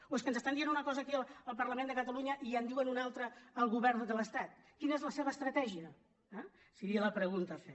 o és que ens estan dient una cosa aquí al parlament de catalunya i en diuen una altra al go·vern de l’estat quina és la seva estratègia eh seria la pregunta a fer